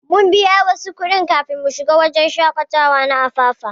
Mun biya wasu kudin kafin shiga wajen shakatawa na Apapa.